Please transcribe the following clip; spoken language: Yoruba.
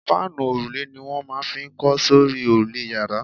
Fáànù òrùlé ni wọ́n máa n fi kọ́ sórí òrùlé yàrá